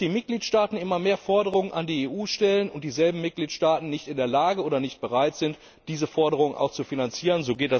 Dass die Mitgliedstaaten immer mehr Forderungen an die EU stellen und dieselben Mitgliedstaaten nicht in der Lage oder nicht bereit sind, diese Forderungen auch zu finanzieren.